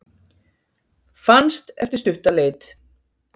Fannst eftir stutta leit